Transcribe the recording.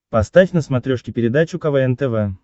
поставь на смотрешке передачу квн тв